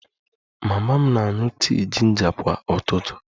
Mama m na-aṅụ tii jinja kwa ụtụtụ